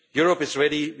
Europe is